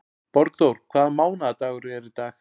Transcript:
Borgþór, hvaða mánaðardagur er í dag?